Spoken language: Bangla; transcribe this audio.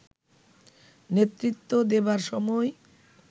নেতৃত্ব দেবার সময়